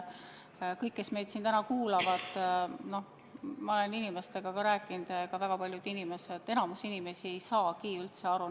Paljud, kes meid täna kuulavad – ma olen inimestega rääkinud –, ei saa üldse aru, mis selle reformiga on.